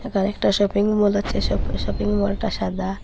একটা shopping mall আছে শপি শপিং মলটা সাদা।